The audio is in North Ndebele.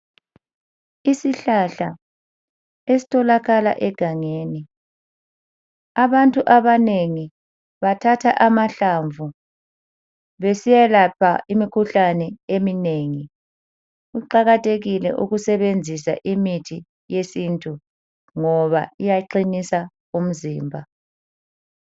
Isihlahla esitholakala egangeni abantu abanengi bathatha amahlamvu besiyalapha imikhuhlane eminengi, kuqakathekile ukusebenzisa imithi yesintu ngoba iyaqinisa umzimba.